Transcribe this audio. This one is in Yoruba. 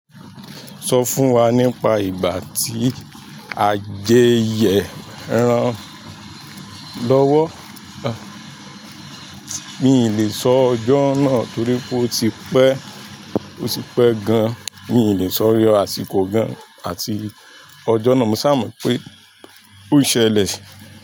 Sọ fún wa nípa ìgbà tí a jẹyẹ erán lọ́wọ́. Mi ò lè sọ ọjọ́ náà torí pé ó ti pẹ́, ó ti pẹ́ gan. Mi lè sọ àsìkò gan-an àti ọjọ́ náà. Mo sámọ̀ pé ó ṣẹlẹ̀.